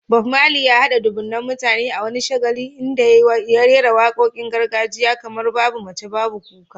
Bob Marley, ya haɗa dubunnan mutane a wani shagali inda ya rera waƙoƙin gargajiya kamar "Babu Mace, Babu Kuka".